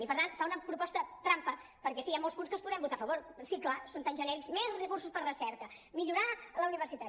i per tant fa una proposta trampa perquè sí hi ha molts punts que els podem votar a favor sí clar són tan ge·nèrics més recursos per a recerca millorar la universitat